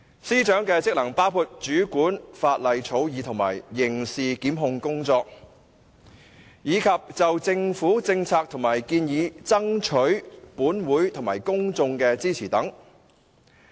司長的職能包括主管法例草擬和刑事檢控工作，以及就政府政策和建議爭取本會及公眾支持等。